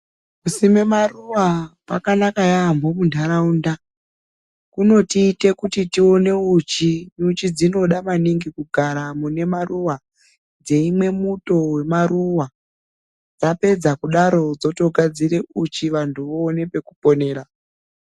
Kusime maruwa kwakanaka yaamho munharaunda. Kunotiite kuti tione uchi. Nyuchi dzinoda maningi kugara mune maruwa dzeimwe muto wemaruwa dzapedza kudaro dzotogadzire uchi vantu voone pekuponera.